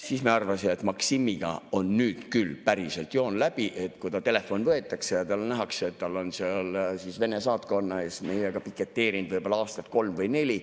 Siis me arvasime, et Maksimiga on nüüd küll päriselt joon läbi, kui ta telefon ära võetakse ja nähakse, et ta on Vene saatkonna ees meiega piketeerinud aastat kolm või neli.